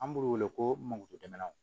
An b'u wele ko magoju jamanaw